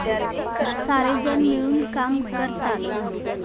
सारेजण मिळून काम करतात.